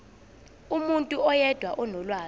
umuntu oyedwa onolwazi